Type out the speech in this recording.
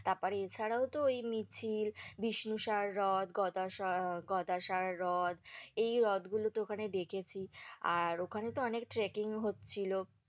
তারপরে এছাড়াও তো ওই মিছিল, বিষ্ণুসার হ্রদ গদাসার হ্রদ এই হ্রদগুলো তো ওখানে দেখেছি, আর ওখানে তো অনেক trekking হচ্ছিলো।